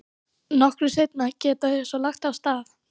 Nokkru seinna geta þau svo lagt af stað.